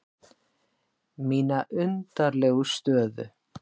Mína undarlegu stöðu.